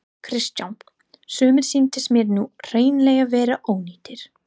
Kristján: Sumir sýnist mér nú hreinlega vera ónýtir?